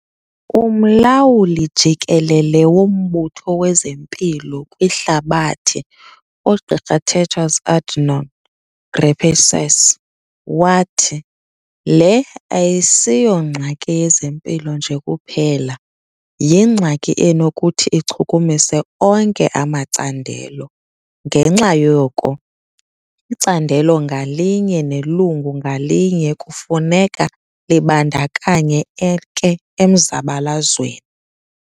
Umlawuli jikelele woMbutho wezeMpilo kwiHlabathi, uGqr Tedros Adhanom Ghebreyesus, wathi, "Le ayisiyongxaki yezempilo nje kuphela, yingxaki enokuthi ichukumise onke amacandelo - ngenxa yoko icandelo ngalinye nelungu ngalinye kufuneka libandakanyeke emzabalazweni".